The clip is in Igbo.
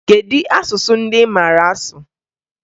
Kedu asụsụ ndị ị maara asụ?